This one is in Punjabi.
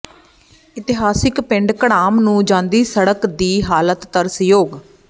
ਇਤਿਹਾਸਕ ਪਿੰਡ ਘੜਾਮ ਨੂੰ ਜਾਂਦੀ ਸੜਕ ਦੀ ਹਾਲਤ ਤਰਸਯੋਗ